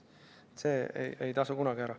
See ei tasu kunagi ära.